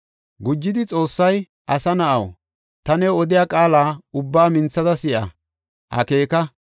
Gujidi Xoossay, “Asa na7aw, ta new odiya qaala ubbaa minthada si7a; akeeka.